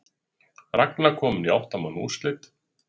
Ragna komin í átta manna úrslit